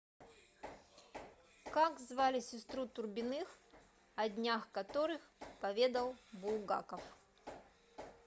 как звали сестру турбиных о днях которых поведал булгаков